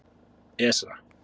Esra